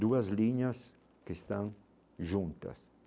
duas linhas que estão juntas.